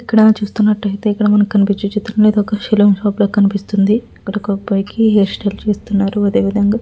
ఇక్కడ చూస్తున్నట్టయితే కనుక మనకి కనిపించే చిత్రంలోని ఇక్కడ ఒక సెలూన్ షాప్ లాగా కనిపిస్తుంది ఇక్కడ ఒక అబ్బాయికి హెయిర్ స్టైల్ చేస్తున్నారు అదే విదంగా .